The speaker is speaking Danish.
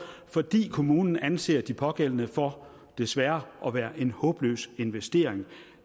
fordi kommunen anser de pågældende for desværre at være en håbløs investering